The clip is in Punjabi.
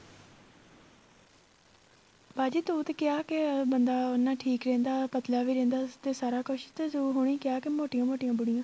ਬਾਜੀ ਤੂੰ ਤੇ ਕਿਹਾ ਕੇ ਬੰਦਾ ਉਹਦੇ ਨਾਲ ਠੀਕ ਰਹਿੰਦਾ ਪੱਤਲਾ ਵੀ ਰਹਿੰਦਾ ਤੇ ਸਾਰਾ ਕੁੱਛ ਤੇ ਹੋ ਹੁਣੀ ਕਿਹਾ ਕੇ ਮੋਟੀਆਂ ਮੋਟੀਆਂ ਬੁੜੀਆਂ